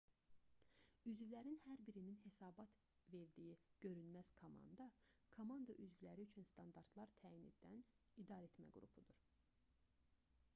üzvlərin hər birinin hesabat verdiyi görünməz komanda komanda üzvləri üçün standartlar təyin edən idarəetmə qrupudur